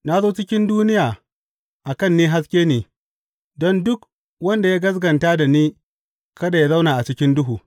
Na zo cikin duniya a kan ni haske ne, don duk wanda ya gaskata da ni, kada yă zauna a cikin duhu.